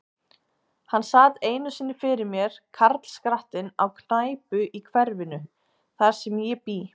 Hann sat einu sinni fyrir mér, karlskrattinn, á knæpu í hverfinu, þar sem ég bý.